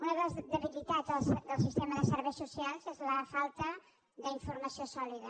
una de les debilitats del sistema de serveis socials és la falta d’informació sòlida